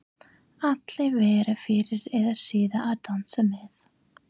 Allir verða fyrr eða síðar að dansa með.